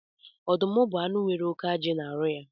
Ọdụm bu anụ nwere óké ajị na arụ ha